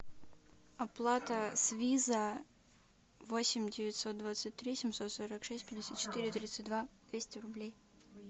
оплата с виза восемь девятьсот двадцать три семьсот сорок шесть пятьдесят четыре тридцать два двести рублей